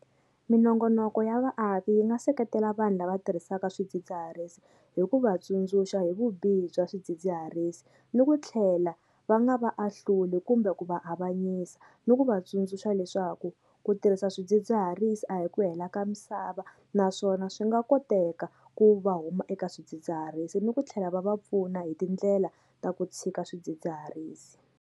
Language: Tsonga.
Minongonoko ya vaaki yi nga seketela vanhu lava tirhisaka swidzidziharisi hi ku va tsundzuxa hi vubihi bya swidzidziharisi ni ku tlhela va nga va ahluli kumbe ku va avanyisa ni ku va tsundzuxa leswaku ku tirhisa swidzidziharisi a hi ku hela ka misava naswona swi nga koteka ku va huma eka swidzidziharisi ni ku tlhela va va pfuna hi tindlela ta ku tshika swidzidziharisi.